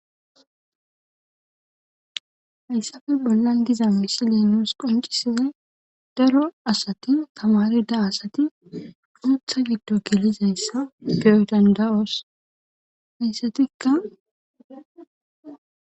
Hayssafe bolla giza misile nuus qoncisizay daro asati kamari da asati puutha giddo kilizayssa peyo dandayoos hayssatikka.